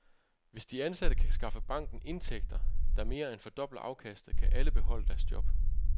Hvis de ansatte kan skaffe banken indtægter, der mere end fordobler afkastet, kan alle beholde deres job.